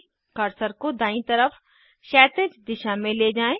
cursor को दायीं तरफ क्षैतिज दिशा में ले जाएँ